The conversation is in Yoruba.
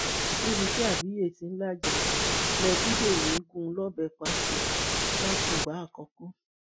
níbi tí abíye tí ń lájà lébédèmí gún un lọbẹ pa sí làkùngbà àkọkọ